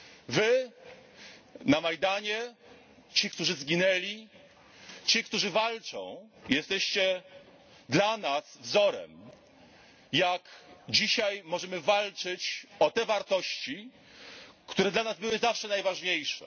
Wy na Majdanie ci, którzy zginęli, ci, którzy walczą jesteście dla nas wzorem, jak dzisiaj możemy walczyć o te wartości, które dla nas były zawsze najważniejsze.